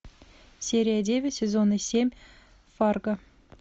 серия девять сезона семь фарго